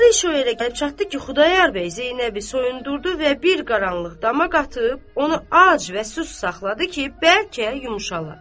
Axırı iş o yerə gəlib çatdı ki, Xudayar bəy Zeynəbi soyundurdu və bir qaranlıq dama qatıb, onu ac və susuz saxladı ki, bəlkə yumşala.